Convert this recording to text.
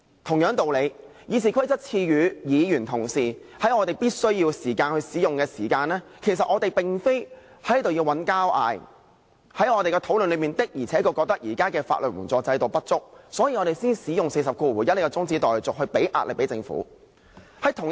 同樣道理，《議事規則》賦予議員同事在必須時使用該規則，其實我們並非要在此吵架，而在我們的討論中，確實覺得現時的法援制度不足，所以我們才會使用第401條這項中止待續議案，向政府施壓。